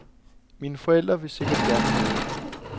Mine forældre vil sikkert gerne have det.